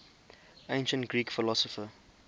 ancient greek philosopher